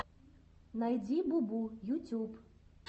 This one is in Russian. найди бубу ютюб